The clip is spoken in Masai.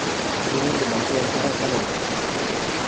ekindim aishoo erishata te nairobi